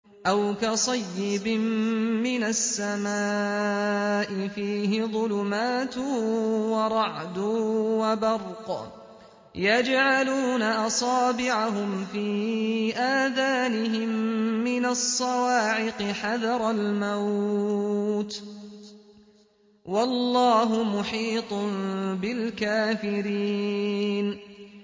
أَوْ كَصَيِّبٍ مِّنَ السَّمَاءِ فِيهِ ظُلُمَاتٌ وَرَعْدٌ وَبَرْقٌ يَجْعَلُونَ أَصَابِعَهُمْ فِي آذَانِهِم مِّنَ الصَّوَاعِقِ حَذَرَ الْمَوْتِ ۚ وَاللَّهُ مُحِيطٌ بِالْكَافِرِينَ